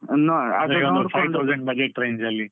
Budget range ಅಲ್ಲಿ.